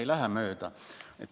Ei lähe mööda.